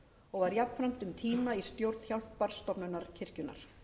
og var jafnframt um tíma í stjórn hjálparstofnunar kirkjunnar